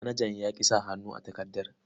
Manajan ya ƙi sa hannu a takardar.